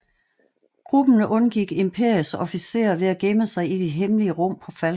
Gruppen undgik Imperiets officerer ved at gemme sig i de hemmelige rum på Falcon